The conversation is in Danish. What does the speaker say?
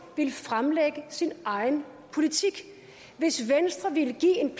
ville fremlægge sin egen politik hvis venstre ville give en